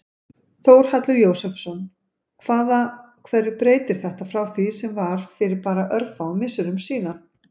Þórhallur Jósefsson: Hvaða, hverju breytir þetta frá því sem var fyrir bara örfáum misserum síðan?